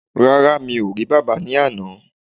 Rárá́, mi ò rí bàbá ní àná